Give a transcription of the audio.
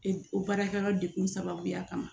O baarakɛyɔrɔ dekun sababuya kama